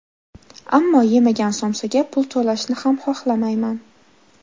Ammo, yemagan somsaga pul to‘lashni ham, xohlamayman.